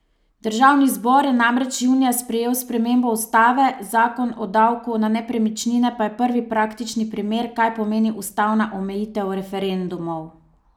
Državni zbor je namreč junija sprejel spremembo ustave, zakon o davku na nepremičnine pa je prvi praktični primer, kaj pomeni ustavna omejitev referendumov.